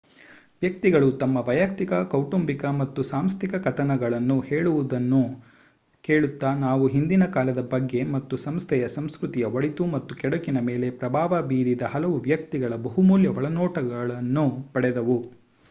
ವ್ಯಕ್ತಿಗಳು ತಮ್ಮ ವೈಯುಕ್ತಿಕ ಕೌಟುಂಬಿಕ ಮತ್ತು ಸಾಂಸ್ಥಿಕ ಕಥನಗಳನ್ನು ಹೇಳುವುದನ್ನು ಕೇಳುತ್ತಾ ನಾವು ಹಿಂದಿನಕಾಲದ ಬಗ್ಗೆ ಹಾಗೂ ಸಂಸ್ಥೆಯ ಸಂಸ್ಕೃತಿಯ ಒಳಿತು ಮತ್ತು ಕೆಡುಕಿನ ಮೇಲೆ ಪ್ರಭಾವ ಬೀರಿದ ಹಲವು ವ್ಯಕ್ತಿಗಳ ಬಹುಮೂಲ್ಯ ಒಳನೋಟಗಳನ್ನು ಪಡೆದೆವು